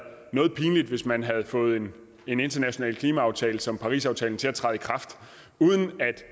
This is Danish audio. noget pinligt hvis man havde fået en en international klimaaftale som parisaftalen til at træde i kraft uden at